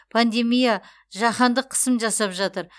пандемия жаһандық қысым жасап жатыр